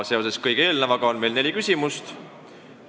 Seoses selle kõigega on meil neli küsimust.